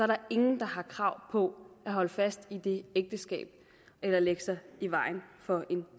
der ingen der har krav på at holde fast i det ægteskab eller lægge sig i vejen for en